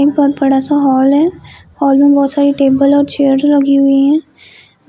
एक बहुत बडा सा हॉल है। हॉल मे बहुत सारी टेबल और चेयर लगी हुई है